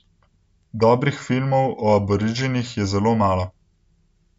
Dobrih filmov o Aboriginih je zelo malo.